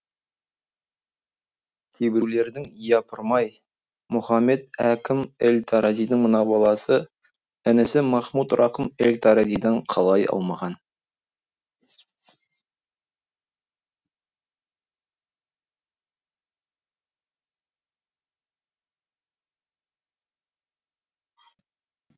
кейбіреулердің япырмай мұхамед әкім эль таразидың мына баласы інісі махмуд рақым эль таразидан қалай аумаған